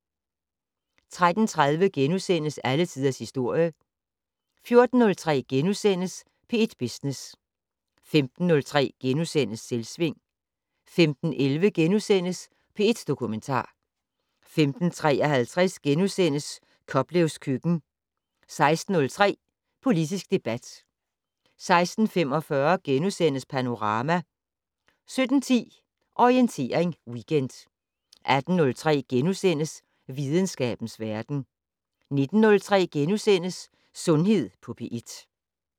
13:30: Alle tiders historie * 14:03: P1 Business * 15:03: Selvsving * 15:11: P1 Dokumentar * 15:53: Koplevs køkken * 16:03: Politisk debat 16:45: Panorama * 17:10: Orientering Weekend 18:03: Videnskabens verden * 19:03: Sundhed på P1 *